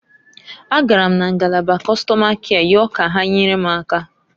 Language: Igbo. A gara m na ngalaba Kọstọma kịa yọọ ka ha nyere m aka.